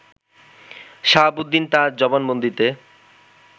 শাহাবুদ্দিন তার জবানবন্দিতে